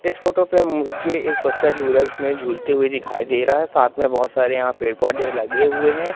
इस फोटो पे मुझे एक बच्चा झूला में झूलते हुए दिखाई दे रहा हैं साथ में बहोत सारे यहाँ पेड़ पौधे लगे हुए हैं।